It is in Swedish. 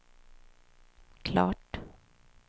klart